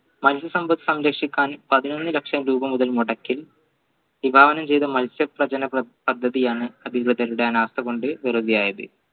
സംരക്ഷിക്കാൻ പതിനൊന്ന് ലക്ഷം രൂപ മുതൽമുടക്കി മത്സ്യപ്രചന പദ്ധതിയാണ് അധികൃതരുടെ അനാസ കൊണ്ട് വെറുതെയായത്